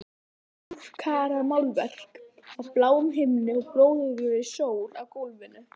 Hálfkarað málverk af bláum himni og blóðrauðri sól á gólfinu.